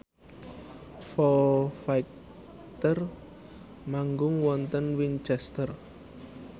Foo Fighter manggung wonten Winchester